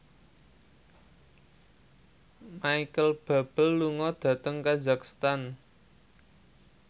Micheal Bubble lunga dhateng kazakhstan